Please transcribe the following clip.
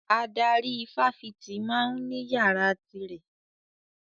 Adarí ifáfitì ma ń ní yàrá ti rẹ̀